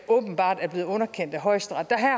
åbenbart er blevet underkendt af højesteret der